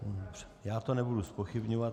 Já to nebudu zpochybňovat.